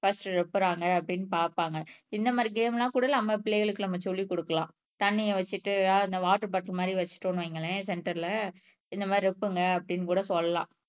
breast நப்பறாங்க அப்படின்னு பாப்பாங்க இந்த மாரி கேம் எல்லாம் கூட நம்ம பிள்ளைகளுக்கு நம்ம சொல்லிக் குடுக்கலாம் தண்ணியை வச்சுட்டு அந்த வாட்டர் பாட்டில் மாரி வச்சுட்டோம்ன்னு வையுங்களேன் சென்டர்ல இந்த மாரி நோப்புங்க அப்படின்னு கூட சொல்லலாம்